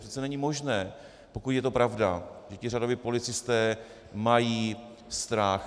Přece není možné, pokud je to pravda, že ti řadoví policisté mají strach.